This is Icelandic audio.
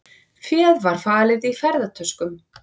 Féð var falið í ferðatöskum